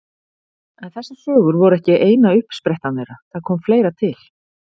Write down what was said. En þessar sögur voru ekki eina uppsprettan þeirra, það kom fleira til.